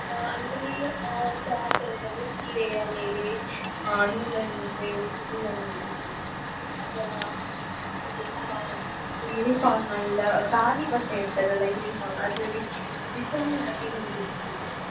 ಆ ಅಂದ್ರೆ ಆ craft work ಅಂದ್ರೆ ಸೀರೆಯ ಮೇಲೆ ಆ ನೂಲನ್ನು ಉಪಯೋಗಿಸಿ ಹೂವನ್ನು ಬಿಡಿಸುದು ಅಥವಾ ನಮ್ದು ಶಾ~ ಇದು uniform ಎಲ್ಲ ಕಾಲಿ ಬಟ್ಟೆ ಇರ್ತದಲ uniform ಅದ್ರಲ್ಲಿ design ಆಗಿ ಹೂ ಬಿಡಿಸುವುದು.